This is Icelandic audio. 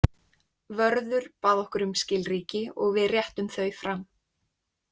Vörður bað okkur um skilríki og við réttum þau fram.